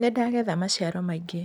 Nĩndagetha maciaro maingĩ.